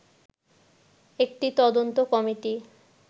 একটি তদন্ত কমিটি